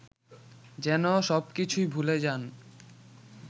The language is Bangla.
যেনো সবকিছুই ভুলে যান